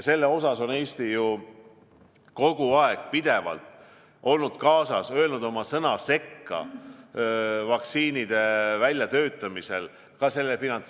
Selles mõttes on Eesti kogu aeg, pidevalt olnud kaasas, öelnud oma sõna sekka vaktsiinide väljatöötamise ja ka finantseerimise puhul.